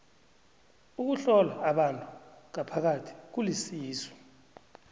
ukuhlola abantu ngaphakathi kulisizo